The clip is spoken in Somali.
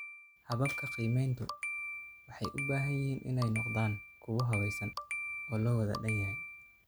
Hababka qiimayntu waxay u baahan yihiin inay noqdaan kuwo habaysan oo loo wada dhan yahay.